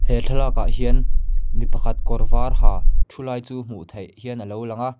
he thlalak ah hian mipa khat kawr var ha thu lai chu hmuh theih hian alo lang a.